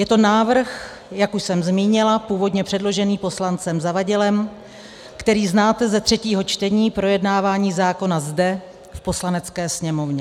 Je to návrh, jak už jsem zmínila, původně předložený poslancem Zavadilem, který znáte ze třetího čtení projednávání zákona zde, v Poslanecké sněmovně.